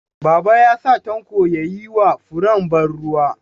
Baba ya sa Tanko ya yi wa furen ban ruwa.